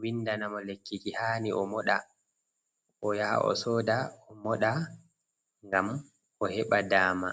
windana mo lekkiki hani o moɗa, o yaha o soda o moɗa ngam o heɓa dama.